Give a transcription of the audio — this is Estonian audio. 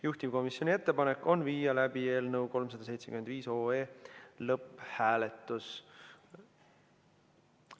Juhtivkomisjoni ettepanek on viia läbi eelnõu 375 lõpphääletus.